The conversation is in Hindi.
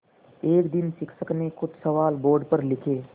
एक दिन शिक्षक ने कुछ सवाल बोर्ड पर लिखे